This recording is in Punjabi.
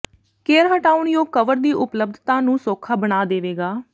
ਕੇਅਰ ਹਟਾਉਣਯੋਗ ਕਵਰ ਦੀ ਉਪਲਬਧਤਾ ਨੂੰ ਸੌਖਾ ਬਣਾ ਦੇਵੇਗਾ